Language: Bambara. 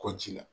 Kɔ ji la